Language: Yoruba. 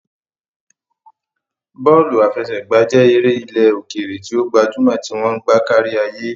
Bọ́ọ̀lù àfẹsẹ̀gbá jẹ́ eré ilẹ̀ òkèèrè tí ó gbajúmọ̀ tí wọ́n ń gbá kárí ayé.